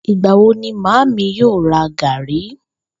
Ìgbà wo ni màámi yóò ra gàrí?